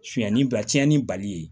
Suɲɛni ba tiɲɛni bali ye